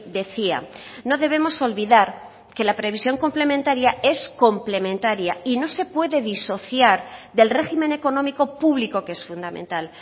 decía no debemos olvidar que la previsión complementaria es complementaria y no se puede disociar del régimen económico público que es fundamental